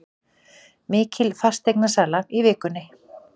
Mikil fasteignasala í vikunni